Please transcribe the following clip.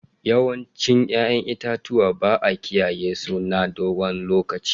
Yawancin 'ya'yan itatuwa ba a kiyaye su na dogon lokaci.